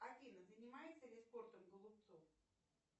афина занимается ли спортом голубцов